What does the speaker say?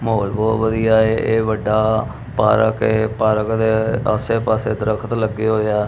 ਮਹੌਲ ਬਹੁਤ ਵਧੀਆ ਏ ਇਹ ਵੱਡਾ ਪਾਰਕ ਹੈ ਪਾਰਕ ਦੇ ਆਸੇ ਪਾਸੇ ਦਰਖਤ ਲੱਗੇ ਹੋਏ ਆ --